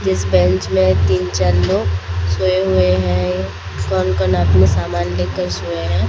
जिस बेंच में तीन-चार लोग सोए हुए हैं। कौन-कौन अपने सामान लेकर सोया है।